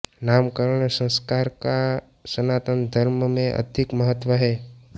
नामकरण संस्कार का सनातन धर्म में अधिक महत्व है